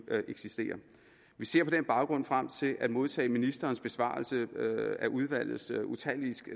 vi ser på den baggrund frem til at modtage ministerens besvarelse af udvalgets utallige